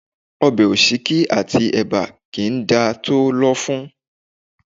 Ọbẹ̀ òsíkí àti ẹ̀bà kì í dá tòó lọ́fun